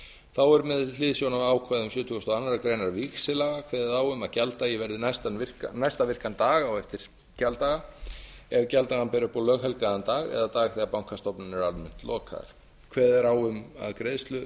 þá er með hliðsjón af ákvæðum sjötugasta og aðra grein víxillaga kveðið á um að gjalddagi verði næsta virkan dag á eftir gjalddaga ef gjalddagann ber upp á löghelgan dag eða dag þegar bankastofnanir eru almennt lokaðar kveðið er á um að greiðslu